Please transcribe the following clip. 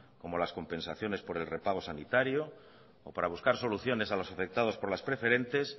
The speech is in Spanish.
como las compensaciones por el repago sanitario o para buscar soluciones a los afectados por las preferentes